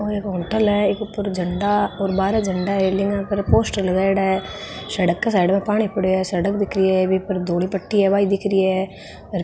यो एक होटल है ई के उपर झंडा और बारे झंडा रैलिंग पर पोस्टर लगायेड़ा सड़क के साईड में पानी पड़यो है सड़क दिख रही है बी पर धोली पट्टी है बा भी दिखरी है ह र --